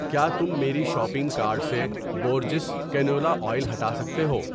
کیا تم میری شاپنگ کارٹ سے بورجس کنولا اویل ہٹا سکتے ہو؟